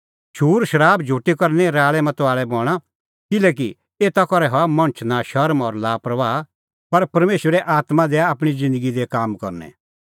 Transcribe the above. शूरशराब झुटी करै निं राल़ैमताल़ै बणां किल्हैकि एता करै हआ मणछ नशर्म और लापरबाह पर परमेशरे आत्मां दैआ आपणीं ज़िन्दगी दी काम करनै